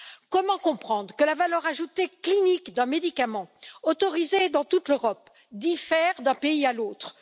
Comment comprendre que la valeur ajoutée clinique d'un médicament autorisé dans toute l'Europe diffère d'un pays à l'autre?